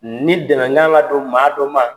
Ni dɛnɛn ka kan ka don maa dɔ ma.